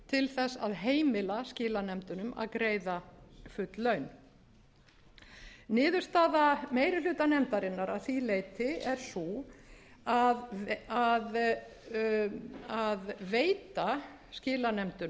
til þess að heimila skilanefndunum að greiða full laun niðurstaða meiri hluta nefndarinnar að því leyti er sú að veita skilanefndunum umbeðna lagaheimild en það verður að